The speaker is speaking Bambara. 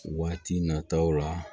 Waati nataw la